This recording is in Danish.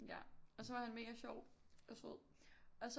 Ja og så var han mega sjov og sød og så